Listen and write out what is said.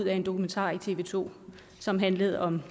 en dokumentar i tv to som handlede om